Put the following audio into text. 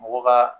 Mɔgɔ ka